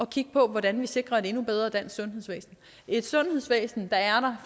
kigge på hvordan vi sikrer et endnu bedre dansk sundhedsvæsen et sundhedsvæsen der er